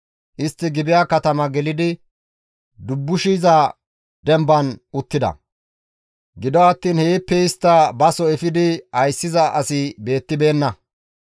Istti Gibi7a katama gelidi dubbushiza demban uttida; gido attiin heeppe istta baso efidi ayssiza asi beettibeenna.